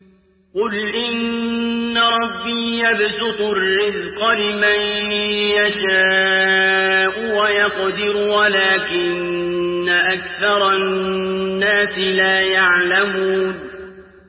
قُلْ إِنَّ رَبِّي يَبْسُطُ الرِّزْقَ لِمَن يَشَاءُ وَيَقْدِرُ وَلَٰكِنَّ أَكْثَرَ النَّاسِ لَا يَعْلَمُونَ